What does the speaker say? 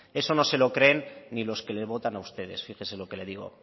eso no se lo cree ni los que les votan a ustedes fíjese lo que le digo